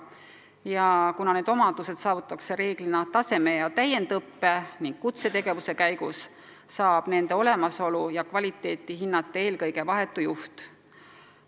Kuna niisugused omadused saavutatakse reeglina taseme- ja täiendusõppe ning kutsetöö käigus, saab nende olemasolu hinnata eelkõige vahetu juht.